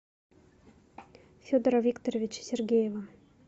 федора викторовича сергеева